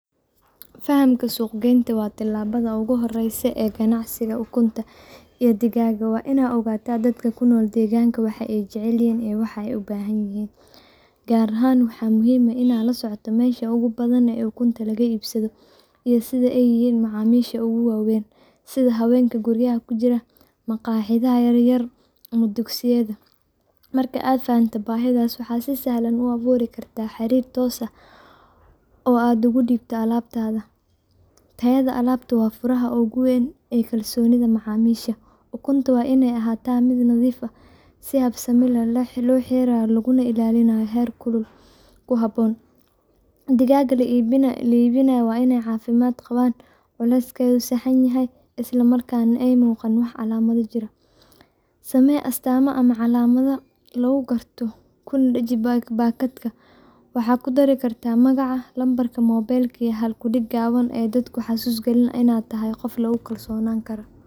Fahamka suuqa waa tallaabada ugu horreysa ee ganacsiga ukunta iyo digaagga. Waa inaad ogaataa dadka deegaankaaga ku nool waxa ay jecel yihiin iyo waxa ay u baahan yihiin. Gaar ahaan waxaa muhiim ah inaad la socoto meesha ugu badan ee ukunta laga iibsado iyo cidda ay yihiin macaamiisha ugu waaweyn sida haweenka guryaha ku jira, maqaayadaha yaryar, ama dugsiyada. Marka aad fahanto baahidaas, waxaad si sahlan u abuuri kartaa xiriir toos ah oo aad ugu dhiibto alaabtaada. Tayada alaabtaadu waa furaha ugu weyn ee kalsoonida macaamiisha. Ukunta waa inay ahaato nadiif, si habsami leh loo xareeyo, laguna ilaaliyo heerkul ku habboon. Digaagga la iibinayo waa inay caafimaad qabaan, culeyskooda sax yahay, islamarkaana aanay muuqan calaamado jirro. Nadaafadda guud ee meesha lagu hayo digaagga iyo meelaha lagu diyaariyo ukunta waa inay ahaato heer sare si loo hubiyo in waxyeello caafimaad aysan ku dhicin macaamiisha. Ugu dambeyn, samee astaan ama calaamad si fudud loo garto, kuna dheji baakadahaaga. Waxaad ku dari kartaa magacaaga, lambarka taleefanka, iyo halkudhig gaaban oo dadka xasuus geliya inaad tahay qof lagu kalsoon karo.